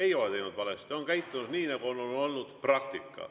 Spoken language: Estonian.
Ei ole teinud valesti, nad on käitunud nii, nagu on olnud praktika.